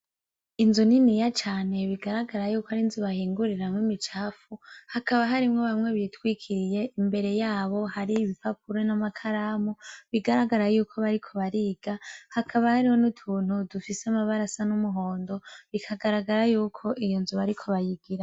Inzu nini ya cane bigaragara yuko ari nzubahinguriramwe imicafu hakaba harimwo bamwe bitwikiriye imbere yabo hari ibipapuro n'amakaramu bigaragara yuko bariko bariga hakaba hariho ni utuntu dufise amabarasa n'umuhondo bikagaragara yuko iyo nzu bariko bayigira.